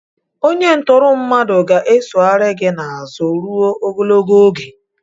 Onye ntụrụ mmadụ ga-esoghari gị n'azụ ruo ogologo oge.